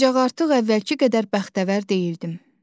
Ancaq artıq əvvəlki qədər bəxtəvər deyildim.